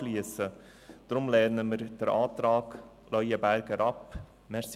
Deshalb lehnen wir den Antrag Leuenberger ab.